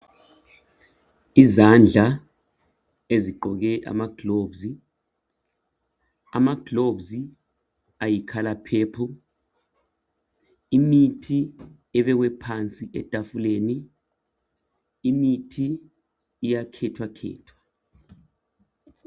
Izandla ezigqoke amagilovisi alombala oyipurple, imithi ebekwe phansi etafuleni, imithi iyakhethwakhethwa.